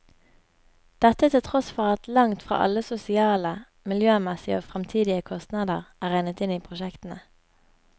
Dette til tross for at langt fra alle sosiale, miljømessige og fremtidige kostnader er regnet inn i prosjektene.